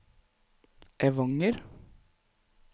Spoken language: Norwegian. Evanger